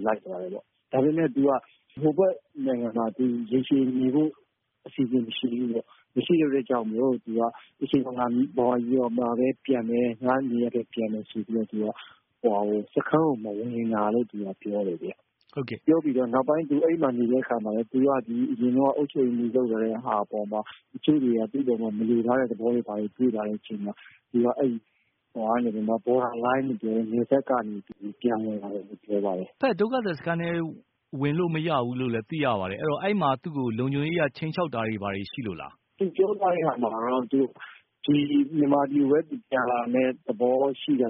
လိုက်သွားတယ်ပေါ့ ဒါပေမဲ့ သူက ဟိုဘက်နိုင်ငံမှာ ရေရှည်နေဖို့ အစီအစဉ်မရှိဘူးပေါ့။ မရှိတော့ သူက မြန်မာပြည်ကိုပဲ ပြန်မယ် ငါ့နေရပ်ကိုပြန်မယ်ဆိုပြီး စခန်းထဲကို မဝင်တာလို့ပြောတယ် ခင်ဗျ။ ပြောပြီးတော့ သူနောက်ပိုင်းအဲ့မှာ နေတဲ့အခါမှာလည်း သူက အရင်တုန်းက အုပ်ချုပ်ရေးမှူးဟောင်းဖြစ်ခဲ့တဲ့အပေါ် တချို့တွေက သူ့အပေါ်မှာ မလိုလားတဲ့ သဘောဖြစ်လာတော့ သူက Border Line ပေါ့ အဲ့နယ်စပ်ကနေပြီးတော့ ပြန်ဝင်လာပါတယ်။ တဘက်ဒုက္ခသည်စခန်းထဲကိုလည်း ဝင်လို့မရဘူးလို့သိရပါတယ်။ အဲ့ဒီ့မှာ လုံခြုံရေးအရ ခြိမ်းခြောက်တာတွေ ဘာတွေရှိလို့လား။ သူပြောတာကတော့ သူက မြန်မာပြည်ကိုပဲ ပြန်လာဖို့သဘောရှိတ